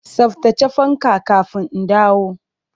Tsaftace fanka kafin in dawo!